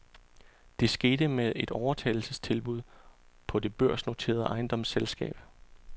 Det skete med et overtagelsestilbud på det børsnoterede ejendomsselskab.